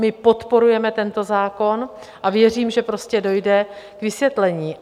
My podporujeme tento zákon a věřím, že prostě dojde k vysvětlení.